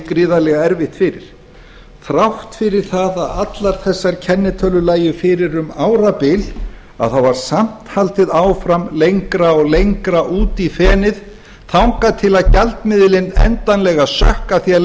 gríðarlega erfitt fyrir þrátt fyrir það að allar þessar kennitölur lægju fyrir um árabil þá var samt haldið áfram lengra og lengra út í fenið þangað til gjaldmiðillinn endanlega sökk af því að